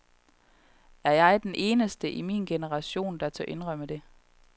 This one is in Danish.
Er jeg den eneste i min generation, der tør indrømme det?